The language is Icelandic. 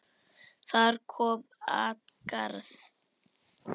Þar kom at garði